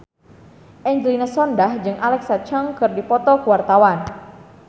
Angelina Sondakh jeung Alexa Chung keur dipoto ku wartawan